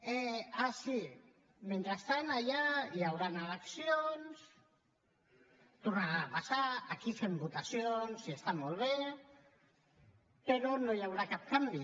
ah sí mentrestant allà hi hauran eleccions tornaran a passar aquí fem votacions i està molt bé però no hi haurà cap canvi